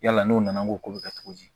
Yala n'o nana ko bɛ kɛ cogo di